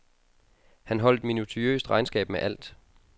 Han holdt minutiøst regnskab med alt.